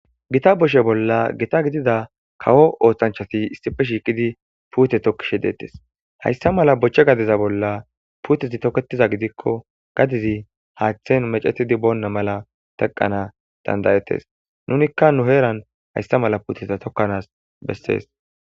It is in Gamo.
Gita boshe bolla gita gidida kawo ooththanchati issife shiiqidi puute tokkishe deettes hayssa mala bochche gadiza bolla puutezi toketiza gidikko gadizi haaththen mecetidi boonna mala teqqana dandayettes nunikka nu heeran hayssa mala puuteza tokkanaas bessees.